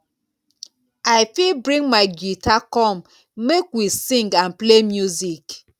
i fit bring my guitar come make we sing and play music.